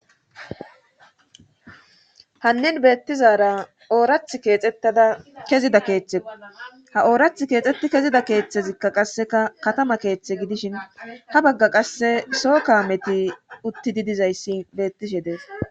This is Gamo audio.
hannin beettizara oorath keexettada kezida keeththe ha oorath keexxetti kezida keeththezikka qasseka katama keeththe gidishin ha bagga qasse soo ka meti uttididizayssi beettishe dees